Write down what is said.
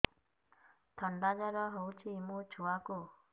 ଥଣ୍ଡା ଜର ହେଇଚି ମୋ ଛୁଆକୁ